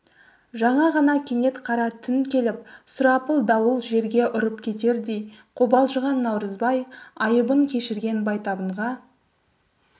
жаңа ғана кенет қара түн келіп сұрапыл дауыл жерге ұрып кетердей қобалжыған наурызбай айыбын кешірген байтабынға